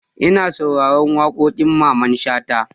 Na saurari waƙoƙin Mamman Shata.